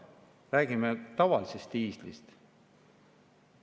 Räägime tavalisest diislist.